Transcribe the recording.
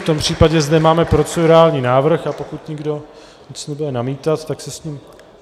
V tom případě zde máme procedurální návrh, a pokud nikdo nebude nic namítat, tak se s ním...